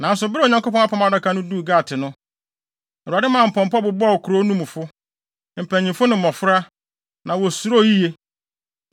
Nanso Bere a Onyankopɔn Apam Adaka no duu Gat no, Awurade maa pɔmpɔ bobɔɔ kurow no mufo, mpanyin ne mmofra, na wosuroo yiye.